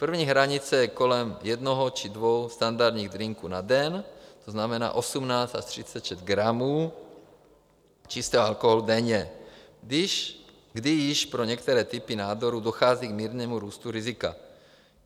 První hranice je kolem jednoho či dvou standardních drinků na den, to znamená 18 až 36 gramů čistého alkoholu denně, kdy již pro některé typy nádorů dochází k mírnému růstu rizika.